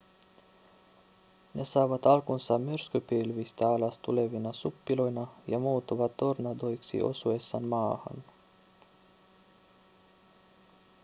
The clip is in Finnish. ne saavat alkunsa myrskypilvistä alas tulevina suppiloina ja muuttuvat tornadoiksi osuessaan maahan